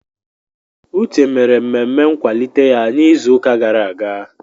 Uche mere mmemme nkwalite ya n'izuụka gara aga.